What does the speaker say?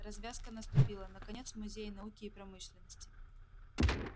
развязка наступила наконец в музее науки и промышленности